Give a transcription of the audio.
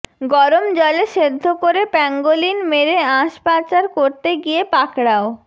গরম জলে সেদ্ধ করে প্যাঙ্গোলিন মেরে আঁশ পাচার করতে গিয়ে পাকড়াও